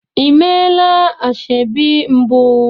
Ị meela ashebi mbụ?